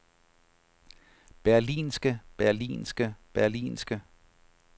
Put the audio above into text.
berlinske berlinske berlinske